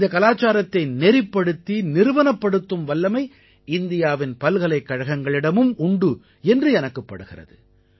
இந்தக் கலாச்சாரத்தை நெறிப்படுத்தி நிறுவனப்படுத்தும் வல்லமை இந்தியாவின் பல்கலைக்கழகங்களிடம் உண்டு என்று எனக்குப் படுகிறது